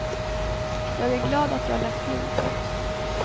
Jag är glad att jag lät bli. punkt